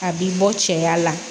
A bi bɔ cɛya la